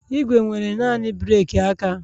Igwe nwere naanị breeki aka